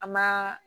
A ma